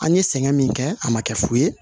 An ye sɛgɛn min kɛ a ma kɛ fu ye